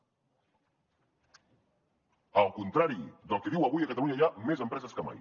al contrari del que diu avui a catalunya hi ha més empreses que mai